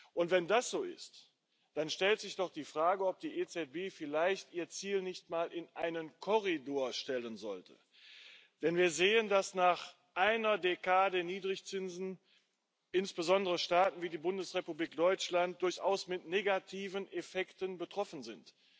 Und wenn das so ist, dann stellt sich doch die Frage, ob die EZB vielleicht ihr Ziel nicht mal in einen Korridor stellen sollte, denn wir sehen, dass nach einer Dekade Niedrigzinsen insbesondere Staaten wie die Bundesrepublik Deutschland durchaus von negativen Effekten betroffen sind.